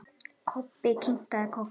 Kobbi kinkaði kolli.